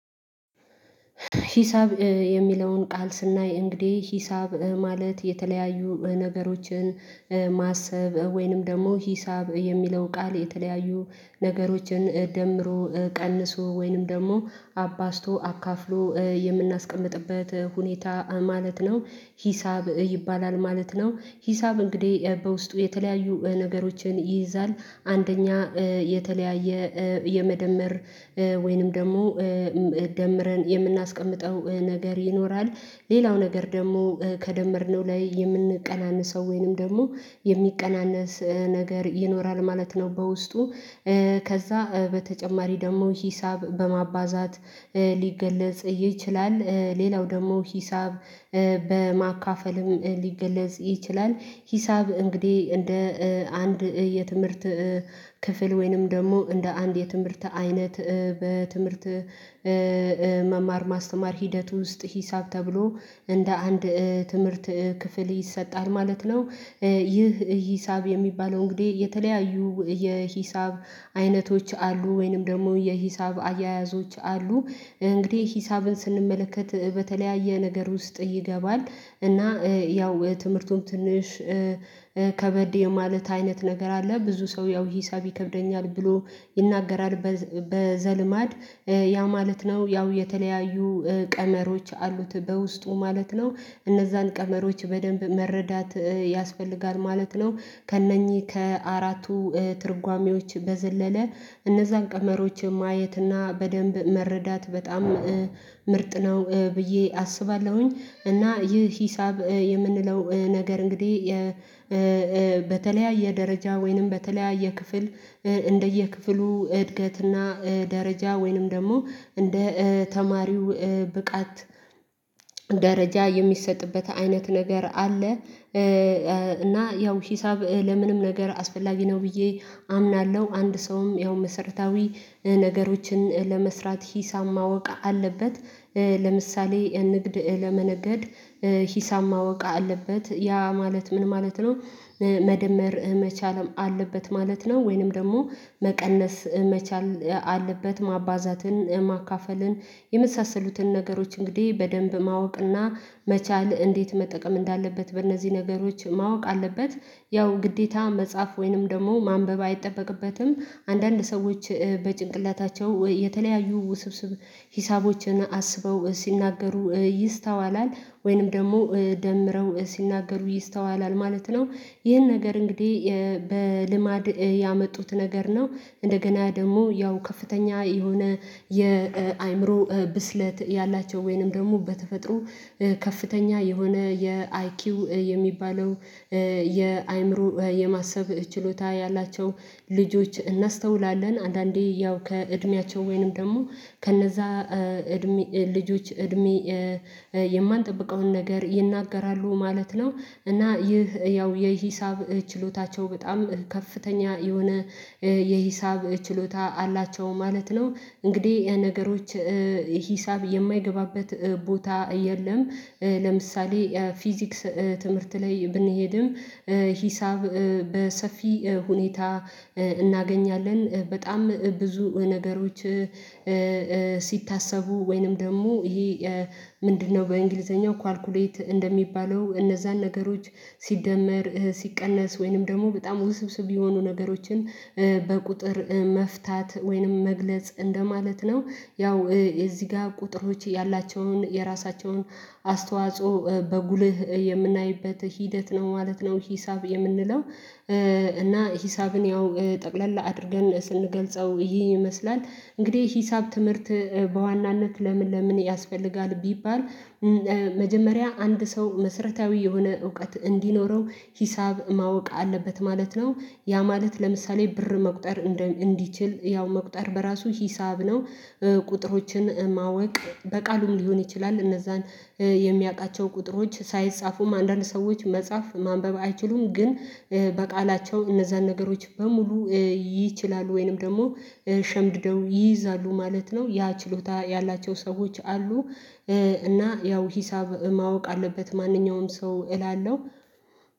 ሂሳብ የሚለውን ቃል ስናይ እንግዲህ ሂሳብ ማለት የተለያዩ ነገሮችን ማሰብ ወይንም ደግሞ ሂሳብ የሚለው ቃል የተለያዩ ነገሮችን ደምሮ ቀንሶ ወይንም ደግሞ አባዝቶ አካፍሎ የምናስቀምጥበት ሁኔታ ማለት ነው ሂሳብ ይባላል ማለት ነው። ሂሳብ እንግዲህ በውስጡ የተለያዩ ነገሮችን ይይዛል አንደኛ የተለያየ የመደመር ወይንም ደግሞ ደምረን የምናስቀምጠው ነገር ይኖራል ሌላው ነገር ደግሞ ከደመርነው ላይ የምንቀናንሰው ወይንም ደግሞ የሚቀናነስ ነገር ይኖራል ማለት ነው። በውስጡ ከዛ በተጨማሪ ደግሞ ሂሳብ በማባዛት ሊገለጽ ይችላል ሌላው ደግሞ ሂሳብ በማካፈልም ሊገለጽ ይችላል። ሂሳብ እንግዲህ እንደ አንድ የትምህርት ክፍል ወይንም ደግሞ እንደ አንድ የትምህርት አይነት በትምህርት መማር ማስተማር ሂደት ውስጥ ሂሳብ ተብሎ እንደ አንድ ትምህርት ክፍል ይሰጣል ማለት ነው። ይህ ሂሳብ የሚባለው እንግዲህ የተለያዩ የሂሳብ አይነቶች አሉ ወይንም ደግሞ የሂሳብ አያያዞች አሉ። እንግዲህ ሂሳብን ስንመለከት በተለያየ ነገር ውስጥ ይገባል እና ያው ትምህርቱን ትንሽ ከበድ የማለት አይነት ነገር አለ ብዙ ሰው ያው ሂሳብ ይከብደኛል ብሎ ይናገራል። በዘልማድ ያ ማለት ነው ያው የተለያዩ ቀመሮች አሉት በውስጡ ማለት ነው እነዛን ቀመሮች በደንብ መረዳት ያስፈልጋል ማለት ነው። ከእነኚህ ከአራቱ ትርጓሜዎች በዘለለ እነዛን ቀመሮች ማየት እና በደንብ መረዳት በጣም ምርጥ ነው ብዬ አስባለሁኝ። እና ይህ ሂሳብ የምንለው ነገር እንግዲህ በተለያየ ደረጃ ወይንም በተለያየ ክፍል እንደየክፍሉ እድገትና ደረጃ ወይንም ደግሞ እንደ ተማሪው ብቃት ደረጃ የሚሰጥበት አይነት ነገር አለ። እና ያው ሂሳብ ለምንም ነገር አስፈላጊ ነው ብዬ አምናለሁ አንድ ሰውም ያው መሰረታዊ ነገሮችን ለመስራት ሂሳብ ማወቅ አለበት። ለምሳሌ ንግድ ለመነገድ ሂሳብ ማወቅ አለበት ያ ማለት ምን ማለት ነው መደመር መቻልም አለበት ማለት ነው። ወይንም ደግሞ መቀነስ መቻል አለበት ማባዛትን ማካፈልን የመሳሰሉትን ነገሮች እንግዲህ በደንብ ማወቅና መቻል እንዴት መጠቀም እንዳለበት በእነዚህ ነገሮች ማወቅ አለበት። ያው ግዴታ መጻፍ ወይንም ደግሞ ማንበብ አይጠበቅበትም አንዳንድ ሰዎች በጭንቅላታቸው የተለያዩ ውስብስብ ሂሳቦችን አስበው ሲናገሩ ይስተዋላል ወይንም ደግሞ ደምረው ሲናገሩ ይስተዋላል ማለት ነው። ይህን ነገር እንግዲህ በልማድ ያመጡት ነገር ነው እንደገና ደግሞ ያው ከፍተኛ የሆነ የአእምሮ ብስለት ያላቸው ወይንም ደግሞ በተፈጥሮ ከፍተኛ የሆነ የአይኪው የሚባለው የአእምሮ የማሰብ ችሎታ ያላቸው ልጆች እናስተውላለን። አንዳንዴ ያው ከእድሜያቸው ወይንም ደግሞ ከነዛ እድሜ ልጆች እድሜ የማንጠብቀውን ነገር ይናገራሉ ማለት ነው እና ይህ ያው የሂሳብ ችሎታቸው በጣም ከፍተኛ የሆነ የሂሳብ ችሎታ አላቸው ማለት ነው። እንግዲህ ነገሮች ሂሳብ የማይገባበት ቦታ የለም። ለምሳሌ ፊዚክስ ትምህርት ላይ ብንሄድም ሂሳብ በሰፊ ሁኔታ እናገኛለን በጣም ብዙ ነገሮች ሲታሰቡ ወይንም ደግሞ ይሄ ምንድነው በእንግሊዘኛው ካልኩሌት እንደሚባለው እነዛን ነገሮች ሲደመር ሲቀነስ ወይንም ደግሞ በጣም ውስብስብ የሆኑ ነገሮችን በቁጥር መፍታት ወይንም መግለጽ እንደማለት ነው። ያው እዚህ ጋር ቁጥሮች ያላቸውን የራሳቸውን አስተዋጽኦ በጉልህ የምናይበት ሂደት ነው ማለት ነው ሂሳብ የምንለው እና ሂሳብን ያው ጠቅለል አድርገን ስንገልጸው ይሄን ይመስላል። እንግዲህ ሂሳብ ትምህርት በዋናነት ለምን ለምን ያስፈልጋል ቢባል መጀመሪያ አንድ ሰው መሰረታዊ የሆነ እውቀት እንዲኖረው ሂሳብ ማወቅ አለበት ማለት ነው ያ ማለት ለምሳሌ ብር መቁጠር እንዲችል ያው መቁጠር በራሱ ሂሳብ ነው። ቁጥሮችን ማወቅ በቃሉም ሊሆን ይችላል እነዛን የሚያቃቸው ቁጥሮች ሳይጻፉም አንዳንድ ሰዎች መጻፍ ማንበብ አይችሉም ግን በቃላቸው እነዛን ነገሮች በሙሉ ይችላሉ ወይንም ደግሞ ሸምድደው ይይዛሉ ማለት ነው ያ ችሎታ ያላቸው ሰዎች አሉ። እና ያው ሂሳብ ማወቅ አለበት ማንኛውም ሰው እላለሁ።